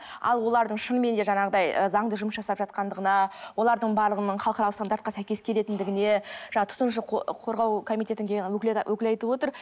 ал олардың шынымен де жаңағыдай ы заңды жұмыс жасап жатқандығына олардың барлығының халықаралық стандартқа сәйкес келетіндігіне жана тұтынушы қорғау комитететіндегі өкіл айтып отыр